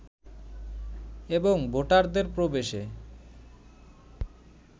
এবং ভোটারদের প্রবেশে